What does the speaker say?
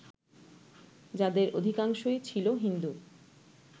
যাঁদের অধিকাংশই ছিল হিন্দু